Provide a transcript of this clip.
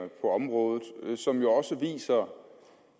på området som jo også viser